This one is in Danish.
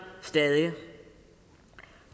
stadig